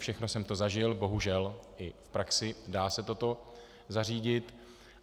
Všechno jsem to zažil bohužel i v praxi, dá se toto zařídit.